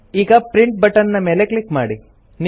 ಈಗ print button ನ ಮೇಲೆ ಕ್ಲಿಕ್ ಮಾಡಿ